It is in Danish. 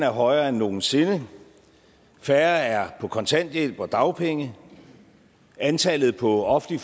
højere end nogen sinde færre er på kontanthjælp og dagpenge antallet på offentlig